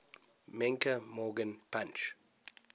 menke morgan punch